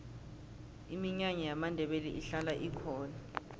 iminyanya yamandebele ihlala ikhona